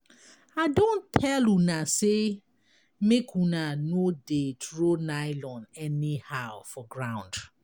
I don tell una say make una no dey throw nylon anyhow for ground.